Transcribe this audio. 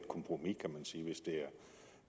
kompromis